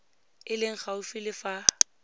e leng gaufi le fa